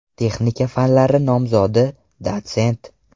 Texnika fanlari nomzodi, dotsent.